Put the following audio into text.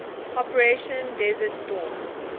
operation desert storm